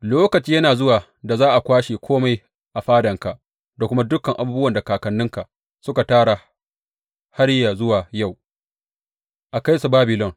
Lokaci yana zuwa da za a kwashe kome a fadanka da kuma dukan abubuwan da kakanninka suka tara har yă zuwa yau, a kai su Babilon.